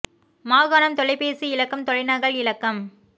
மாகாணம் தொலைபேசி இலக்கம் தொலைநகல் இலக்கம்